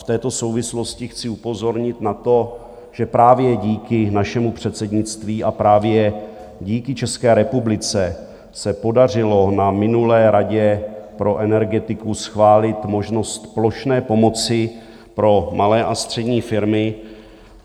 V této souvislosti chci upozornit na to, že právě díky našemu předsednictví a právě díky České republice se podařilo na minulé radě pro energetiku schválit možnost plošné pomoci pro malé a střední firmy.